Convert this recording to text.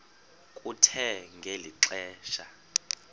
kuthe ngeli xesha